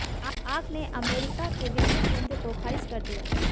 आग ने अमेरिका के वित्तीय केंद्र को खारिज कर दिया